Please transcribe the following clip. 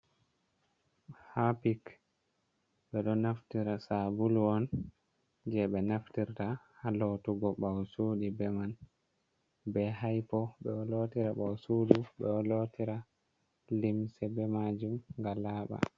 Hapik be do naftira sabul on je be naftirta ha lotugo bawosudu be man, be haipo bedo lotira bawosudu be man bedo lotira limse be majum ga laba.